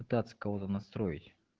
пытаться кого-то настроить